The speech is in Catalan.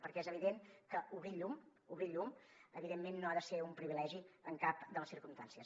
perquè és evident que obrir el llum obrir el llum evidentment no ha de ser un privilegi en cap de les circumstàncies